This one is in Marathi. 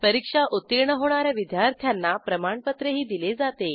परीक्षा उत्तीर्ण होणा या विद्यार्थ्यांना प्रमाणपत्रही दिले जाते